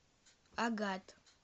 агат